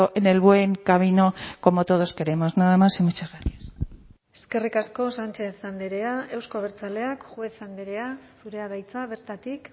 en el buen camino como todos queremos nada más y muchas gracias eskerrik asko sánchez andrea euzko abertzaleak juez andrea zurea da hitza bertatik